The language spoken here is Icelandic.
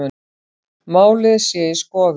Málið sé í skoðun